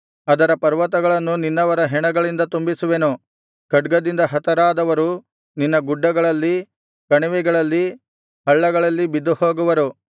ಅದರ ಪರ್ವತಗಳನ್ನು ನಿನ್ನವರ ಹೆಣಗಳಿಂದ ತುಂಬಿಸುವೆನು ಖಡ್ಗದಿಂದ ಹತರಾದವರು ನಿನ್ನ ಗುಡ್ಡಗಳಲ್ಲಿ ಕಣಿವೆಗಳಲ್ಲಿ ಹಳ್ಳಗಳಲ್ಲಿ ಬಿದ್ದುಹೋಗುವರು